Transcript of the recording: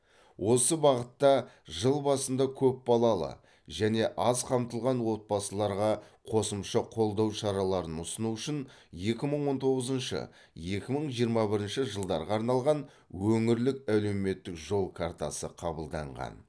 осы бағытта жыл басында көпбалалы және аз қамтылған отбасыларға қосымша қолдау шараларын ұсыну үшін екі мың он тоғызыншы екі мың жиырма бірінші жылдарға арналған өңірлік әлеуметтік жол картасы қабылданған